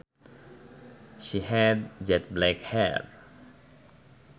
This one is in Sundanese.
She had jet black hair